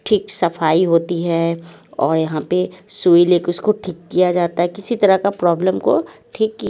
ठीक सफाई होती है और यहां पे सुई ले के उसको ठीक किया जाता है किसी तरह का प्रॉब्लम को ठीक की--